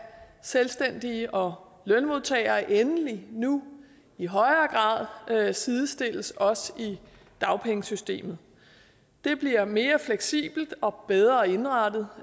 selvstændige og lønmodtagere endelig nu i højere grad sidestilles også i dagpengesystemet det bliver mere fleksibelt og bedre indrettet